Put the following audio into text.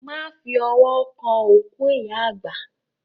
Má fi ọwọ́ kàn òkú ìyá àgbà.